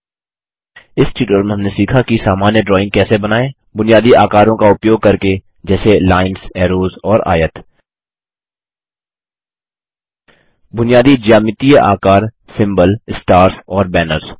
इस ट्यूटोरियल में हमने सीखा कि सामान्य ड्राइंग कैसे बनाएँ बुनियादी आकारों का उपयोग करके जैसे लाइन्स ऐरोज और आयत बुनियादी ज्यामितीय आकार सिम्बल स्टार्स और बैनर्स